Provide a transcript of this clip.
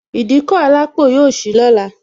Ìdíkọ̀ alápò yọ sì lọ́la